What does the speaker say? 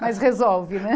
Mas resolve, né?